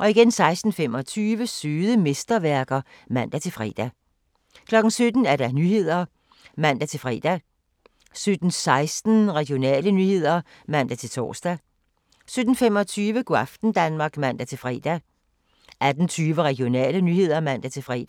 16:25: Søde mesterværker (man-fre) 17:00: Nyhederne (man-fre) 17:16: Regionale nyheder (man-tor) 17:25: Go' aften Danmark (man-fre) 18:20: Regionale nyheder (man-fre)